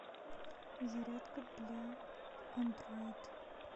зарядка для андроид